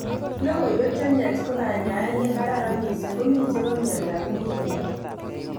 Logoiywek chemyach ko kanyaet ne kararan missing komi chebo myondab muguleldo